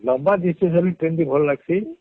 ଲମ୍ବା Distance ହେଲେ Train ଟି ଭଲ ଲାଗସି